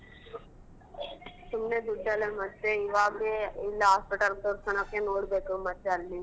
ಸುಮ್ನೆ ದುಡ್ಡೆಲ್ಲ ಮತ್ತೆ ಇವಾಗ್ಲೇ ಇಲ್ hospital ತೋರ್ಸ್ಕಣಕ್ಕೆ ನೋಡ್ಬೇಕು ಮತ್ತೆ ಅಲ್ಲಿ.